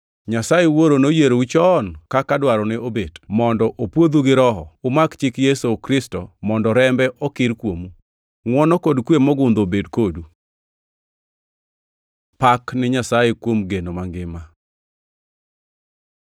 Nyasaye Wuoro noyierou chon kaka dwarone obet mondo opwodhu gi Roho, umak chik Yesu Kristo kendo mondo rembe okir kuomu. Ngʼwono kod kwe mogundho obed kodu. Pak ni Nyasaye kuom geno mangima